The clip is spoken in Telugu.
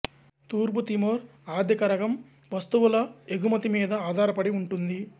తూర్పు తిమోర్ ఆర్థికరగం వస్తువుల ఎగుమతి మీద ఆధారపడి ఉంటుంది